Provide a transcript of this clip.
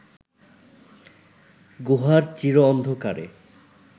গুহার চির অন্ধকারে